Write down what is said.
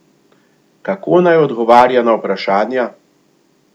Kako naj odgovarja na vprašanja?